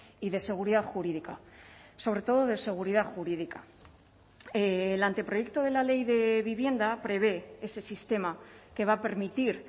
y de seguridad jurídica sobre todo de seguridad jurídica el anteproyecto de la ley de vivienda prevé ese sistema que va a permitir